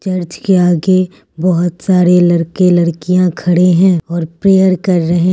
church के आगे बहोत सारे लड़के लड़कियाँ खड़े हैं और प्रेयर कर रहें --